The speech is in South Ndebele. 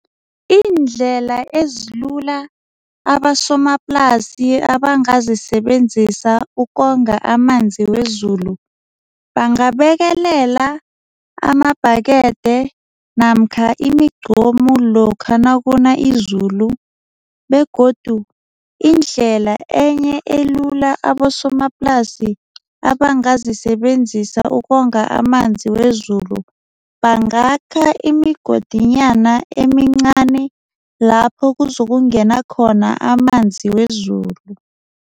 Iindlela ezilula abasomaplasi abangazisebenzisa ukonga amanzi wezulu. Bangabekelela amabhakede namkha imigqomu lokha nakuna izulu begodu indlela enye elula abosomaplasi abangazisebenzisa ukonga amanzi wezulu bangakha imigodinyana emincani lapho uzokungena khona amanzi wezulu.